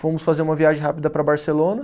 Fomos fazer uma viagem rápida para Barcelona.